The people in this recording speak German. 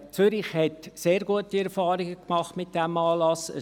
Zürich hat sehr gute Erfahrungen mit diesem Anlass gemacht.